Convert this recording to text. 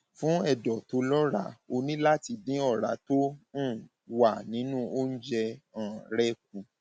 fún ẹdọ tó lọràá o ní láti dín ọrá tó um wà nínú oúnjẹ um rẹ kù